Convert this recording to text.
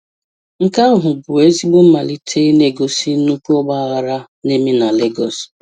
Nke ahụ bụ ezigbo mmalite na-egosi nnukwu ọgba aghara na-eme na Lagos.